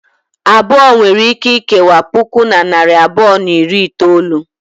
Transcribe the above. Abụọ nwere ike ikewa puku na narị abụọ na iri itolu.